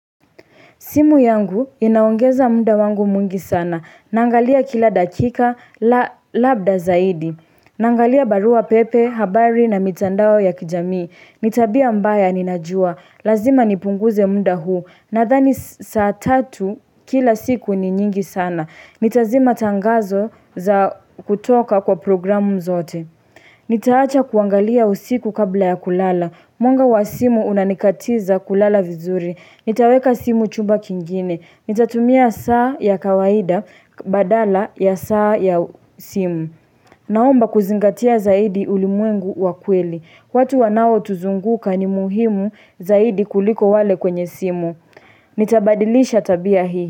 Simu yangu inaongeza muda wangu mwingi sana. Naangalia kila dakika labda zaidi. Nangalia barua pepe, habari na mitandao ya kijami. Ni tabia baya ninajua. Lazima nipunguze munda huu. Nadhani saa tatu, kila siku ni nyingi sana. Nitazima tangazo za kutoka kwa programu zote. Nitaacha kuangalia usiku kabla ya kulala. Mwanga wa simu unanikatiza kulala vizuri. Nitaweka simu chumba kingine. Nitatumia saa ya kawaida badala ya saa ya simu. Naomba kuzingatia zaidi ulimwengu wa kweli. Watu wanaotuzunguka ni muhimu zaidi kuliko wale kwenye simu. Nitabadilisha tabia hii.